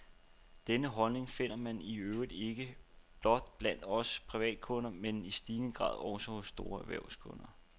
Denne holdning finder man i øvrigt ikke blot blandt os privatkunder, men i stigende grad også hos store erhvervskunder.